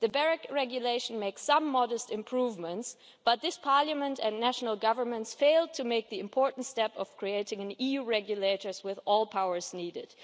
The BEREC Regulation makes some modest improvements, but this Parliament and national governments failed to take the important step of creating an EU regulator with all the powers needed.